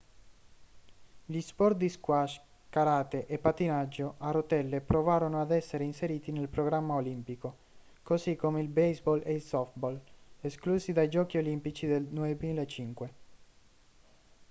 gli sport di squash karate e pattinaggio a rotelle provarono ad essere inseriti nel programma olimpico così come il baseball e il softball esclusi dai giochi olimpici nel 2005